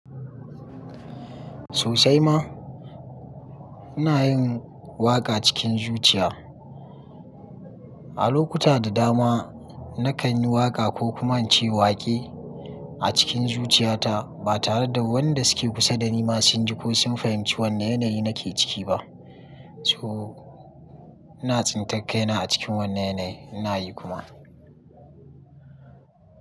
Sosai ma, ina yin waƙa cikin zuciya. A lokuta da dama na kan yi waƙa ko kuma ce waƙe a cikin zuciyata ba tare da wanda suke kusa da ni masu jin ko sun fahimci wane yanayi nake ciki ba. Toh ina tsintakka ina a cikin wannan yanayi ina yi kuma.